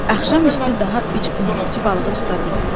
Axşam üstü daha üç qumlaqçı balığı tuta bildi.